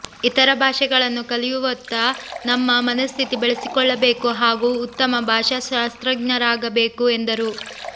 ಇತರ ಭಾಷೆಗಳನ್ನು ಕಲಿಯುವತ್ತ ನಮ್ಮ ಮನಸ್ಥಿತಿ ಬೆಳೆಸಿಕೊಳ್ಳಬೇಕು ಹಾಗೂ ಉತ್ತಮ ಭಾಷಾಶಾಸ್ತ್ರಜ್ಞರಾಗಬೇಕು ಎಂದರು